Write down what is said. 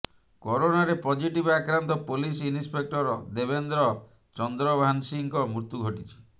କରୋନାରେ ପଜିଟିଭ ଆକ୍ରାନ୍ତ police inspector Debendra ଚନ୍ଦ୍ରଭାନ୍ସିଙ୍କ ମୃତ୍ୟୁ ଘଟିଛି